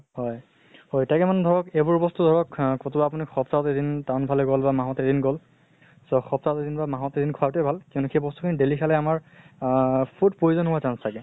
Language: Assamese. হয় হয় তাকে মানে ধৰক এইবোৰ বস্তু ধৰক কʼতো আপুনি সপ্তাহত এদিন town ফালে গল বা মাহত এদিন গল so সপ্তাহত এদিন বা মাহত এদিন খোৱাটো ভাল। কিন্তু সেই বস্তু খিনি daily খালে আমাৰ আহ food poison হোৱাৰ chance থাকে।